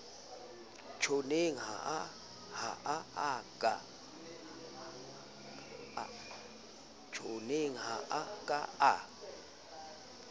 tjhonneng ha a ka a